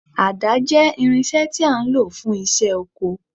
Àdá jẹ́ irinṣẹ́ tí a ń lò fún iṣẹ́ oko